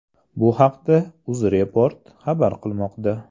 Bu haqda UzReport xabar qilmoqda .